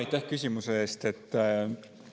Aitäh küsimuse eest!